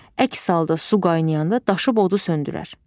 Əks halda su qaynayanda daşıb odu söndürər.